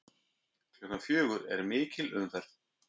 Klukkan fjögur er mikil umferð.